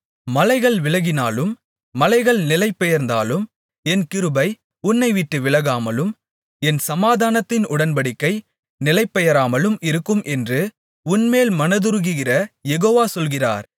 மலைகள் விலகினாலும் மலைகள் நிலைபெயர்ந்தாலும் என் கிருபை உன்னைவிட்டு விலகாமலும் என் சமாதானத்தின் உடன்படிக்கை நிலைபெயராமலும் இருக்கும் என்று உன்மேல் மனதுருகுகிற யெகோவா சொல்கிறார்